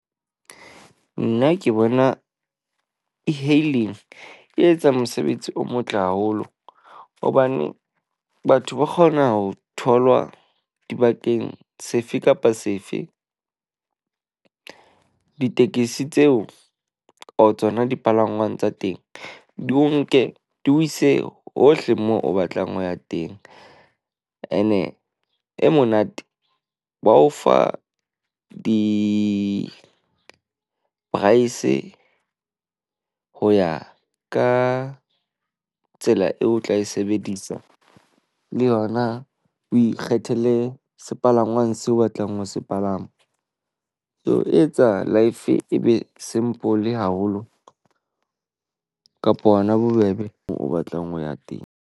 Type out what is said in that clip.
Nna ke bona e-hailing e etsang mosebetsi o motle haholo hobane batho ba kgona ho tholwa dibakeng sefe kapa sefe. Ditekisi tseo or tsona dipalangwang tsa teng, di o nke di o ise hohle moo o batlang ho ya teng. Ene e monate wa o fa di-price. Ho ya ka tsela eo o tla e sebedisa le yona. O ikgethele sepalangwang seo o batlang ho se palama. Ke ho etsa life e be simple haholo kapa hona bobebe o batlang ho ya teng.